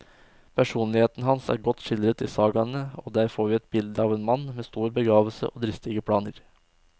Personligheten hans er godt skildret i sagaene, og der får vi et bilde av en mann med stor begavelse og dristige planer.